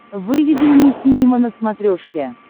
выведи мне синема на смотрешке